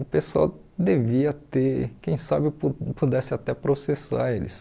O pessoal devia ter, quem sabe eu pu pudesse até processar eles.